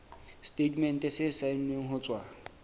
setatemente se saennweng ho tswa